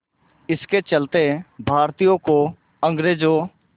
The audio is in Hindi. इसके चलते भारतीयों को अंग्रेज़ों